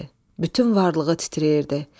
Bütün varlığı titrəyirdi.